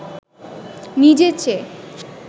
নিজের চেয়ে